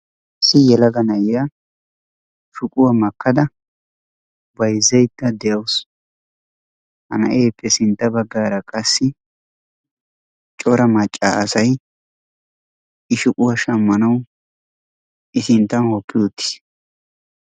Issi yelaga na'iyaa shuquwaa makkada bayzzayda deawusu. ha na'eeppe sintta baggaara qassi cora macca asaay i shuquwaa shammanawu i sinttan hokki uttiis.